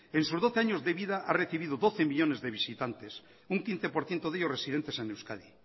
en sus doce años de vida ha recibido doce millónes de visitantes un quince por ciento de ellos residentes en euskadi